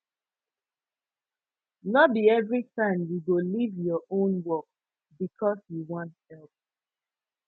no be every time you go leave your own work because you wan help